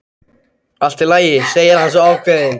Allt í lagi, segir hann svo ákveðinn.